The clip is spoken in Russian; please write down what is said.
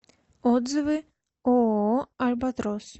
отзывы ооо альбатрос